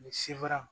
Ni sebaa